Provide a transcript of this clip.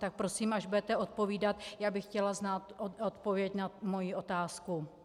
Tak prosím, až budete odpovídat, já bych chtěla znát odpověď na svoji otázku.